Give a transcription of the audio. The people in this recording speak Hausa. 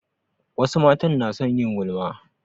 Wasu matan na son yin gulma